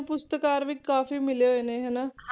ਪੁਰਸਕਾਰ ਵੀ ਕਾਫ਼ੀ ਮਿਲੇ ਹੋਏ ਨੇ ਹਨਾ,